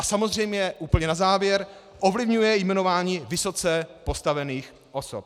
A samozřejmě úplně na závěr - ovlivňuje jmenování vysoce postavených osob.